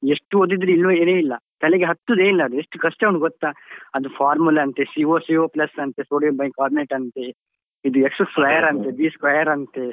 ಎಷ್ಟು ಓದಿದ್ರು ಇಲ್ಲ ತಲೆಗೆ ಹತ್ತುದೆ ಇಲ್ಲ ಅದು ಎಷ್ಟು ಕಷ್ಟ ಉಂಟು ಗೊತ್ತಾ? ಅದು formula ಅಂತೆ CO CO plus ಅಂತೆ, sodium bicarbonate ಅಂತೆ, ಇದು x square ಅಂತೆ, b square ಅಂತೆ.